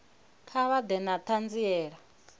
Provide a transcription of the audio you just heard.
kha vha ḓe na ṱhanziela